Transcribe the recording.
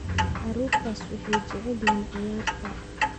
Carruurtaas waxay jecel yihiin ciyaarta.